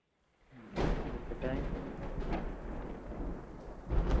ഉം okay thanks